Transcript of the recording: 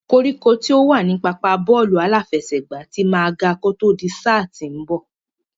Koríko tí ó wà ní pápá bọ́ọ̀lù aláfẹsẹ̀gbá ti máa ga kó tó di sáà tí ń bọ̀.